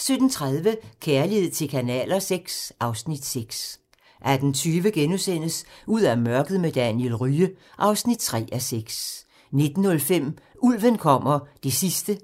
5)* 17:30: Kærlighed til kanaler VI (Afs. 6) 18:20: Ud af mørket med Daniel Rye (3:6)* 19:05: Ulven kommer (8:8)